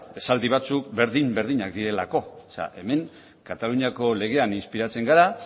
esaldi batzuk berdin berdinak direlako hemen kataluniako legean inspiratzen gara